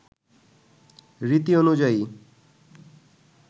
রীতি অনুযায়ী